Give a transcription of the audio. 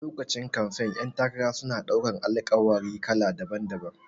A lokacin kamfen ƴan takara suna ɗaukan Alƙawari kala daban-daban